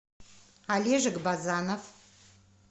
олежек базанов